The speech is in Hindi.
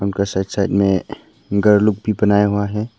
उनका साइड साइड में घर लोग भी बनाया हुआ है।